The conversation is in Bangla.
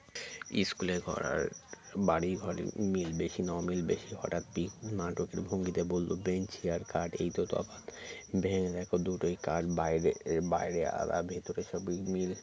school এর ঘর আর বাড়ির ঘরে মিল বেশি না অমিল বেশি হঠাৎ পিকু নাটকের ভঙ্গিতে বলল bench আর খাট এই তো তফাৎ ভেবে দেখো দুটোই কাঠ বাইরে বাইরে আর ভেতরে সবই মিল